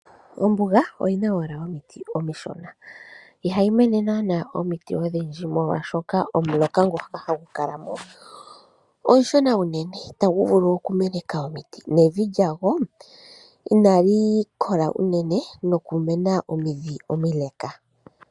Ombuga oyina owala omiti omishona iha yimene naana omiti odhindji molwashoka omuloka ngu hagu kala mo, omushona unene ita gu vulu okumeneka omiti nevi lyagwo inali kola unene nokumena omindhi omileka.